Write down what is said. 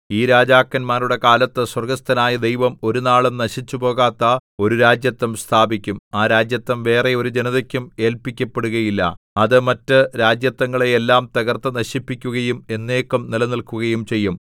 ഈ രാജാക്കന്മാരുടെ കാലത്ത് സ്വർഗ്ഗസ്ഥനായ ദൈവം ഒരുനാളും നശിച്ചുപോകാത്ത ഒരു രാജത്വം സ്ഥാപിക്കും ആ രാജത്വം വേറെ ഒരു ജനതക്കും ഏല്പിക്കപ്പെടുകയില്ല അത് മറ്റ് രാജത്വങ്ങളെ എല്ലാം തകർത്ത് നശിപ്പിക്കുകയും എന്നേക്കും നിലനില്‍ക്കുകയും ചെയ്യും